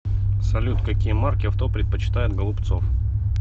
салют какие марки авто предпочитает голубцов